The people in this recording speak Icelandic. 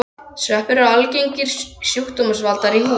Sveppir eru algengir sjúkdómsvaldar í húð.